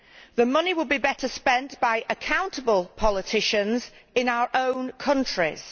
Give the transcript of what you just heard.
The money would be better spent by accountable politicians in our own countries.